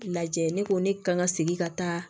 Lajɛ ne ko ne kan ka segin ka taa